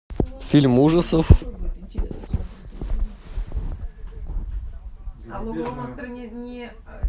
фильм ужасов